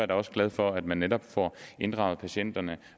da også glad for at man netop får inddraget patient